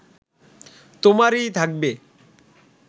তোমারই থাকবে